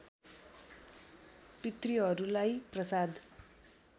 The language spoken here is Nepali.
पितृहरूलाई प्रसाद